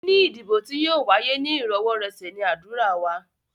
Níní ìdìbò tí yóò wáyé ní íròwọ́rọ̀sẹ̀ ní ádùrá wa.